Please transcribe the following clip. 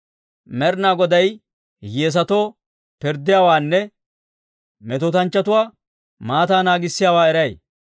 Med'inaa Goday hiyyeesatoo pirddiyaawaanne, metootanchchatuwaa maataa naagisiyaawaa eray.